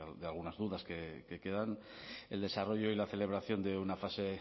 de algunas dudas que quedan el desarrollo y la celebración de una fase